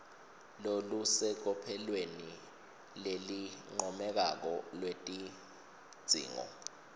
lolusecophelweni lelincomekako lwetidzingo